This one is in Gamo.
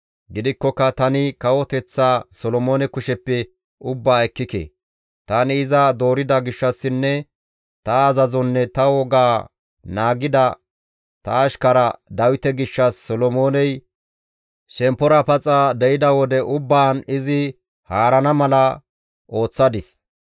« ‹Gidikkoka tani kawoteththaa Solomoone kusheppe ubbaa ekkike; tani iza doorida gishshassinne ta azazonne ta wogaa naagida ta ashkara Dawite gishshas Solomooney shemppora paxa de7ida wode ubbaan izi haarana mala ooththadis.